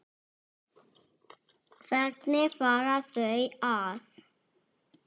Hvernig fara þau að?